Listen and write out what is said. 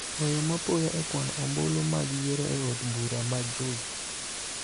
weyo mapoya e kwano ombulu mag yiero e od bura mar Juja.